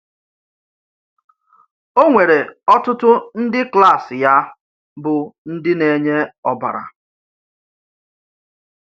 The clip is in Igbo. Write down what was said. Ọ́ nwéré ọtụtụ ndị klas yá bụ́ ndị na-enye ọ́bara.